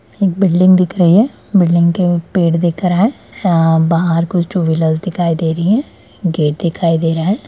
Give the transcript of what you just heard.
एक बिल्डिंग दिख रही है बिल्डिंग के पेड़ दिख रहा है अ बाहर कुछ टू व्हीलर्स दिखाई दे रही है गेट दिखाई दे रहा है।